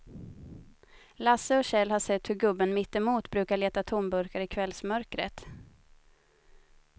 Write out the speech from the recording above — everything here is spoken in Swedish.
Lasse och Kjell har sett hur gubben mittemot brukar leta tomburkar i kvällsmörkret.